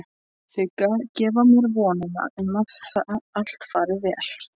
Þau gefa mér vonina um að allt fari vel.